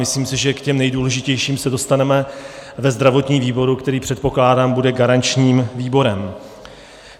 Myslím si, že k těm nejdůležitějším se dostaneme ve zdravotním výboru, který, předpokládám, bude garančním výborem.